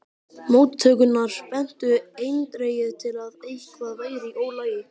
Móttökurnar bentu eindregið til að eitthvað væri í ólagi.